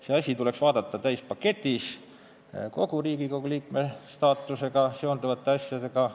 Seda asja tuleks vaadata täispaketis, kus käsitletaks kogu Riigikogu liikme staatusega seonduvat probleemistikku.